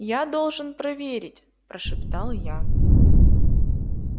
я должен проверить прошептал я